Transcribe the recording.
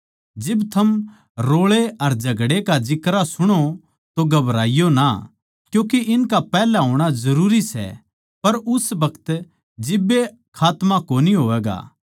जिब थम रोळे अर झगड़े का जिक्रा सुणो तो घबराईयो ना क्यूँके इनका पैहल्या होणा जरूरी सै पर उस बखत जिब्बे खात्मा कोनी होवैगा